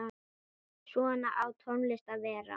Svona á tónlist að vera.